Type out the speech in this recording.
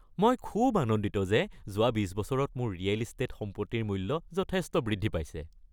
মই খুব আনন্দিত যে যোৱা বিচ বছৰত মোৰ ৰিয়েল ইষ্টেট সম্পত্তিৰ মূল্য যথেষ্ট বৃদ্ধি পাইছে।